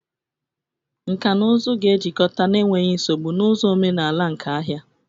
Nkà na ụzụ ga-ejikọta n'enweghị nsogbu na ụzọ omenala nke ahịa.